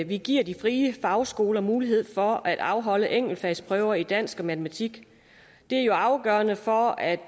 vi giver de frie fagskoler mulighed for at afholde enkeltfagsprøver i dansk og matematik det er jo afgørende for at